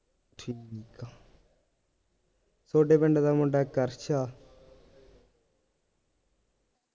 ਥੋਡੇ ਪਿੰਡ ਦਾ ਮੁੰਡਾ ਇੱਕ ਅਰਸ਼ ਆ